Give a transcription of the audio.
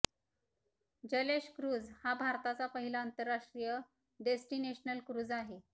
Jalesh cruise हा भारताचा पहिला आंतरराष्ट्रीय डेस्टिनेशनल क्रुझ आहे